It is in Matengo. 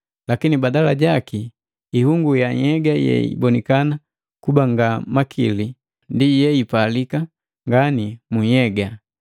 Lakini badala jaki, ihungu ya nhyega yeibonikana kuba nga namakili, ndi yeipalika ngani mu nhyega.